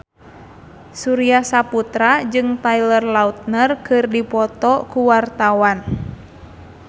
Surya Saputra jeung Taylor Lautner keur dipoto ku wartawan